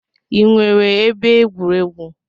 Ị nwere ebe egwuregwu?